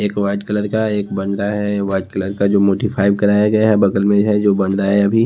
एक white colour का एक है वाइट कलर का जो मोटिफाइव कराया गया है बगल में है जो है अभी --